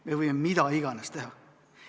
Me võime mida iganes teha.